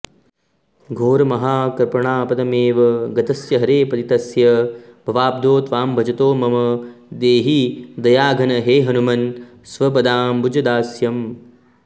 घोरमहाकृपणापदमेव गतस्य हरे पतितस्य भवाब्धौ त्वां भजतो मम देहि दयाघन हे हनुमन् स्वपदाम्बुजदास्यम्